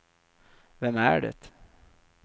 vem är det